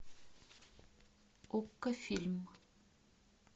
окко фильм